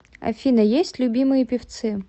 афина есть любимые певцы